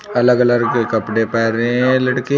अलग अलग कलर के कपड़े पहने हैं लड़के।